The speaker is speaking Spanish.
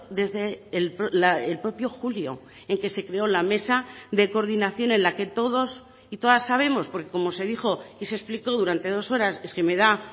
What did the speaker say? desde el propio julio en que se creó la mesa de coordinación en la que todos y todas sabemos porque como se dijo y se explicó durante dos horas es que me da